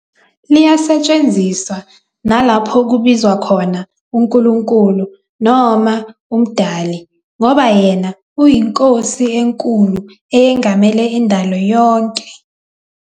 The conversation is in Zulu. Liyasetshenziswa nalapho kubizwa khona uNkulunkulu noma uMdali ngoba yena uyiNkosi enkulu eyangamele indalo yonke.